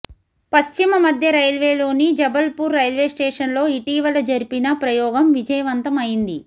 పశ్చిమ మధ్య రైల్వేలోని జబల్పూర్ రైల్వేస్టేషన్లో ఇటీవల జరిపిన ప్రయోగం విజయవంతం అయింది